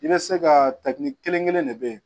I bɛ se ka takini kelenkelen ne bɛ yen